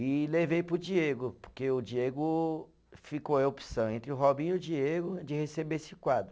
E levei para o Diego, porque o Diego ficou a opção entre o Robinho e o Diego, de receber esse quadro.